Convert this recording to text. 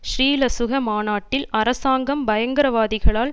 ஸ்ரீலசுக மாநாட்டில் அரசாங்கம் பயங்கரவாதிகளால்